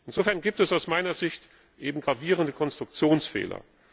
Insofern gibt es aus meiner Sicht eben gravierende Konstruktionsfehler.